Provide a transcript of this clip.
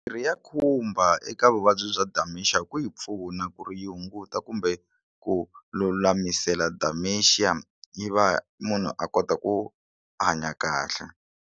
Mirhi ya khumba eka vuvabyi bya dementia ku yi pfuna ku ri yi hunguta kumbe ku lulamisela dementia yi va munhu a kota ku hanya kahle.